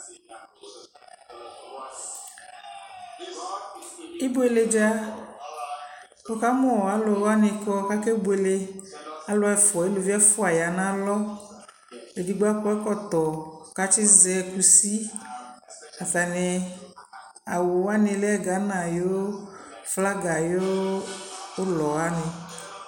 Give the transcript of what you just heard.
ibʋɛlɛ dza wʋkamʋalʋ wani kʋakɛ bʋɛlɛ, alʋ ɛƒʋa alʋvi ɛƒʋa yanʋ alɔ, ɛdigbɔ akɔ ɛkɔtɔ kʋ atsi zɛ kʋsi, atani awʋ wani lɛ Ghana ayʋ flagi ayʋ ʋlɔ wani